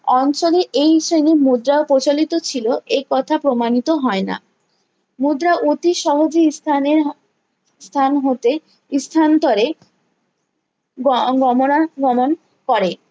অঞ্চলে এই শ্রেণীর মুদ্রা প্রচালিত ছিল এ কথা প্রমাণিত হয়না মুদ্রা অতি সাহবী ইস্থানে ইস্থান হতে ইস্থান্তরে গ গোমরার গমন করে